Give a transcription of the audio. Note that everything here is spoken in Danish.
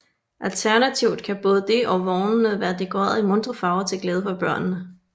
Alternativt kan både det og vognene være dekoreret i muntre farver til glæde for børnene